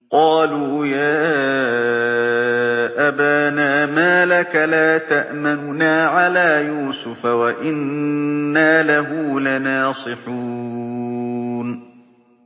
قَالُوا يَا أَبَانَا مَا لَكَ لَا تَأْمَنَّا عَلَىٰ يُوسُفَ وَإِنَّا لَهُ لَنَاصِحُونَ